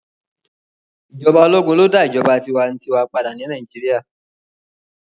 Ijọba ologun lo da ijọba tiwantiwa pada ni Nàìjíríà